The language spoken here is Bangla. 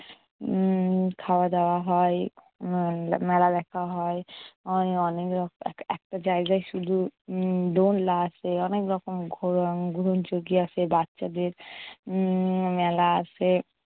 উম খাওয়া-দাওয়া হয়, মেলা দেখা হয়, অনেক রক এক~ একটা জায়গায় শুধু দোলনা আছে, অনেক রকম ঘোরন ঘুরন চরকি আছে বাচ্চাদের উম মেলা আছে।